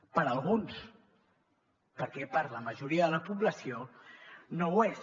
per a alguns perquè per a la majoria de la població no ho és